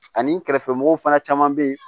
Ani kɛrɛfɛmɔgɔw fana caman bɛ yen